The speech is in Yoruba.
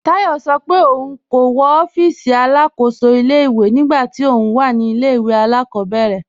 Táyọ̀ sọ́ pé óun kò wọ́ òfíìsí alákóṣò ilẹ̀-ìwé nígbà tí óun wà ní ilẹ̀-ìwé alákọ̀bẹ̀rẹ̀